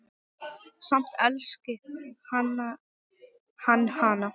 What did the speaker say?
Samt elski hann hana.